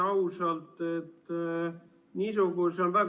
Aitäh!